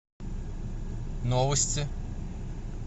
новости